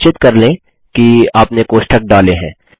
सुनिश्चित कर लें कि आपने कोष्ठक डालें हैं